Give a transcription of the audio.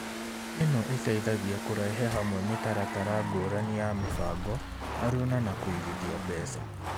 Ĩno ĩteithagia kũrehe hamwe mĩtaratara ngũrani ya mĩbango, aruna na kũigithia mbeca.